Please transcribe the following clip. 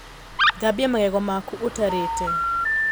Thambia magego maku ũtarĩte